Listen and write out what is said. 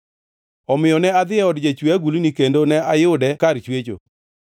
Omiyo ne adhi e od jachwe agulni, kendo ne ayude kar chwecho.